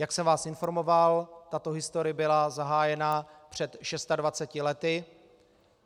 Jak jsem vás informoval, tato historie byla zahájena před 26 lety.